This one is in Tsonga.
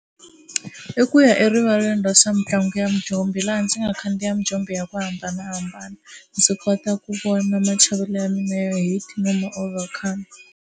I ku ya erivaleni ra swa mitlangu ya mijombo laha ndzi nga khandziya mijombo ya ku hambanahambana ndzi kota ku vona machavelo ya mina ya height no